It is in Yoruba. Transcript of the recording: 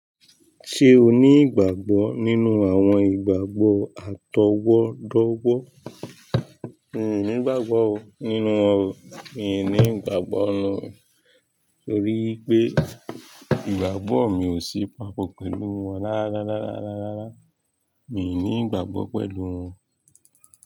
Ṣé o ní ìgbàgbọ́ nínú àwọn ìgbàgbọ́ àtọwọ́dọ́wọ́? Mi ò ní ìgbàgbọ́ o nínú wọn o. Mi ò ní ìgbàgbọ́ nínú wọn torí wipé ìgbàgbọ́ mi ò sí papọ̀ pẹ̀lú wọn rárá rárá rárá. Mi ò ní ìgbàgbọ́ pẹ̀lú wọn.